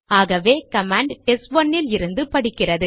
ஆகவே கமாண்ட் டெஸ்ட்1 லிருந்து படிக்கிறது